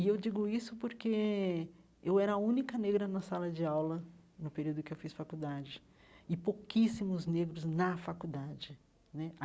E eu digo isso porque eu era a única negra na sala de aula no período em que eu fiz faculdade, e pouquíssimos negros na faculdade né.